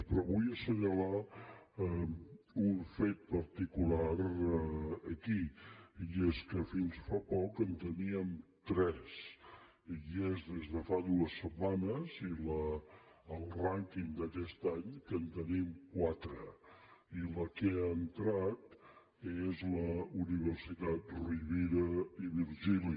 però vull assenyalar un fet particular aquí i és que fins fa poc en teníem tres i és des de fa dues setmanes i al rànquing d’aquest any que en tenim quatre i la que ha entrat és la universitat rovira i virgili